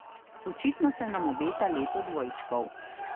Očitno se nam obeta leto dvojčkov.